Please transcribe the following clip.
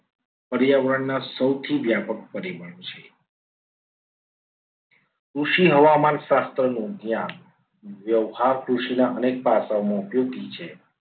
પર્યાવરણના સૌથી વ્યાપક પરિબળ છે. કૃષિ હવામાન શાસ્ત્રનું જ્ઞાન વ્યવહાર કૃષિના અનેક પાસાઓમાં ઉપયોગી છે.